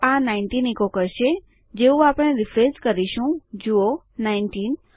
તો આ nineteen echo કરશે જેવું આપણે રીફ્રેશ કરીશું જુઓ નાઈનટીન